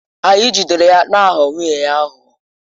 Anyị jidere ya na-aghọ nwunye ya aghụghọ.